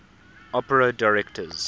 opera directors